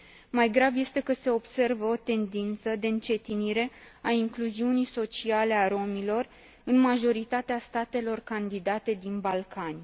Mai grav este că se observă o tendință de încetinire a incluziunii sociale a romilor în majoritatea statelor candidate din Balcani.